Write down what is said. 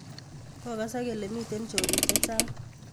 Kokasak kele miten chorik chechag